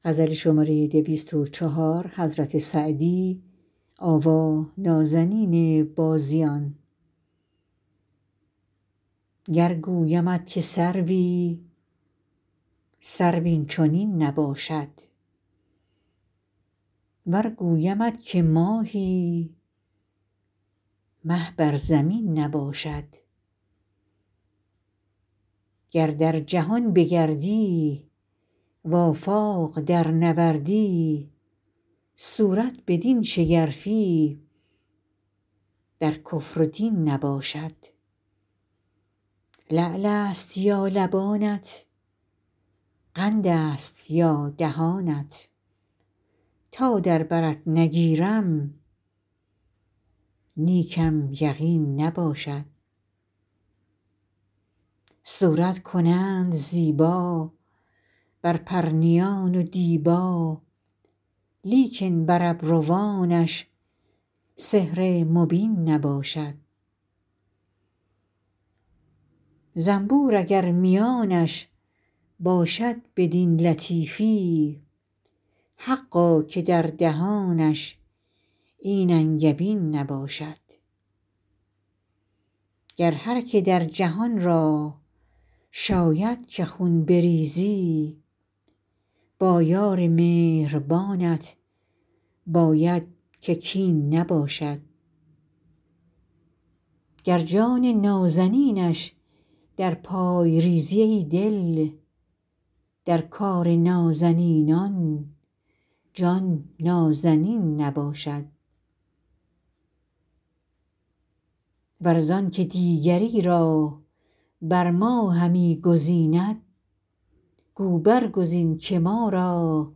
گر گویمت که سروی سرو این چنین نباشد ور گویمت که ماهی مه بر زمین نباشد گر در جهان بگردی و آفاق درنوردی صورت بدین شگرفی در کفر و دین نباشد لعل است یا لبانت قند است یا دهانت تا در برت نگیرم نیکم یقین نباشد صورت کنند زیبا بر پرنیان و دیبا لیکن بر ابروانش سحر مبین نباشد زنبور اگر میانش باشد بدین لطیفی حقا که در دهانش این انگبین نباشد گر هر که در جهان را شاید که خون بریزی با یار مهربانت باید که کین نباشد گر جان نازنینش در پای ریزی ای دل در کار نازنینان جان نازنین نباشد ور زان که دیگری را بر ما همی گزیند گو برگزین که ما را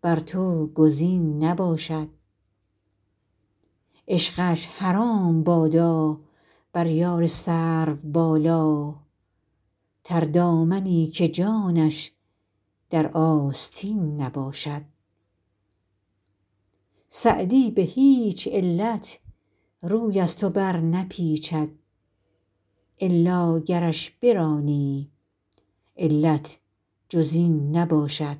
بر تو گزین نباشد عشقش حرام بادا بر یار سروبالا تردامنی که جانش در آستین نباشد سعدی به هیچ علت روی از تو برنپیچد الا گرش برانی علت جز این نباشد